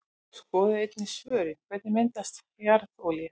Skoðið einnig svörin: Hvernig myndast jarðolía?